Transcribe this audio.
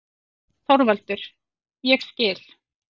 ÞORVALDUR: Ég skil.